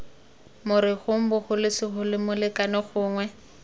morerong bogolo segolo molekane gongwe